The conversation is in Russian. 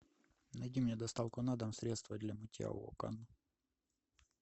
найди мне доставку на дом средства для мытья окон